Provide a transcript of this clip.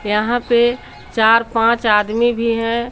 यहां पे चार पांच आदमी भी हैं।